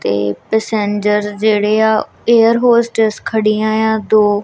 ਤੇ ਪੈਸੰਜਰ ਜਿਹੜੇ ਆ ਏਅਰ ਹੋਸਟਸ ਖੜੀਆਂ ਆ ਦੋ।